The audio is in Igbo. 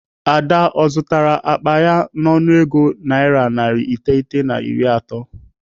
Ada ọ zụtara akpa ya n'ọnụego naira narị iteghete na iri atọ?